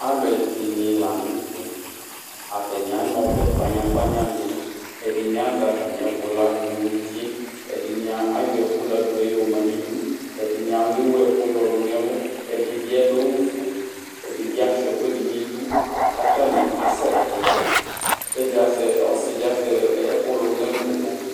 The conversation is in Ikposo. Alʋ ɛdɩnɩ la nʋ tɛ ,atanɩ ana ɔbɛ kpanyakpanya dɩ ,ɛdɩnɩ azɛ atamɩɛkʋ ladʋ nʋ utie, ɛdɩnɩ ayɔ ɛkʋ ladʋɛ yɔ ma nidu, ɛdɩnɩ alʋ ɩwɛkʋ yɔ lʋ nɛlʋ, ɛdɩ bɩ adʋ awʋ fue ,ɛdɩ bɩ asʋɩa ɛkʋɛdɩ n' idu, katanɩ asɛtɩ, kɛdɩ azɛ ,ɔsɩ dɩ azɛ ɛkʋ lʋ nɛlʋ nʋ boki